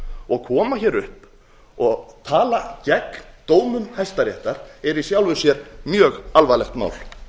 og að koma hér upp og tala gegn dómum hæstaréttar er í sjálfu sér mjög alvarlegt mál